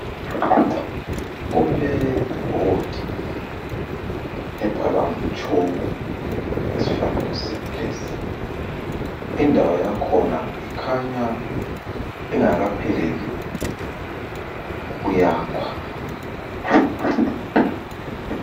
Kule bhodi ebhalwa ngetshoko esifanekisweni lesi, indawo yakhona ikhanya ingakapheleli ukuyakhwa.